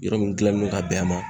Yɔrɔ min gilanlen no ka bɛn a ma.